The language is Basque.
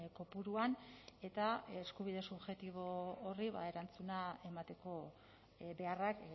kopuruan eta eskubide subjektibo horri erantzuna emateko beharrak